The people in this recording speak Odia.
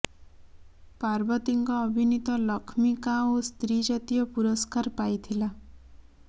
ପାର୍ବତୀଙ୍କ ଅଭିନୀତ ଲକ୍ଷ୍ମୀ କା ଓ ସ୍ତ୍ରୀ ଜାତୀୟ ପୁରସ୍କାର ପାଇଥିଲା